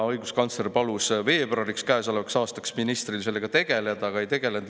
" Õiguskantsler palus käesoleva aasta veebruariks ministril sellega tegeleda, aga ta ei tegelenud.